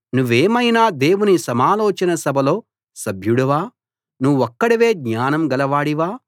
నువ్వేమైనా దేవుని సమాలోచన సభలో సభ్యుడివా నువ్వొక్కడివే జ్ఞానం గలవాడివా